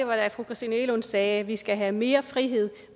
var da fru christina egelund sagde at vi skal have mere frihed